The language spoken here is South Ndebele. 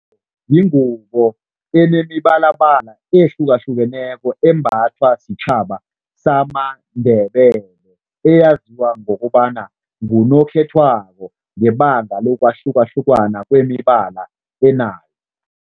Yingubo enemibalabala ehlukahlukeneko embathwa sitjhaba samaNdebele, eyaziwa ngokobana ngunokhethwabo ngebanga lokwahlukahlukana kwemibala enayo.